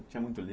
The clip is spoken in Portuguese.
Tinha muito li